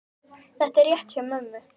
Þetta er rétt hjá mömmu.